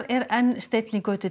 er enn steinn í götu